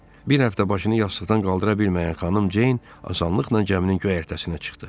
Bir həftə başını yastıqdan qaldıra bilməyən Xanım Ceyn asanlıqla gəminin göyərtəsinə çıxdı.